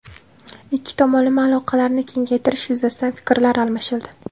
Ikki tomonlama aloqalarni kengaytirish yuzasidan fikrlar almashildi.